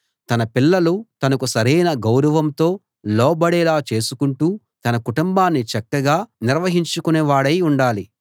తన పిల్లలు తనకు సరైన గౌరవంతో లోబడేలా చేసుకుంటూ తన కుటుంబాన్ని చక్కగా నిర్వహించుకునేవాడై ఉండాలి